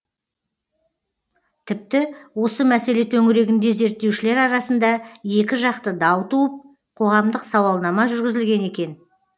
тіпті осы мәселе төңірегінде зерттеушілер арасында екіжақты дау туып қоғамдық сауалнама жүргізілген екен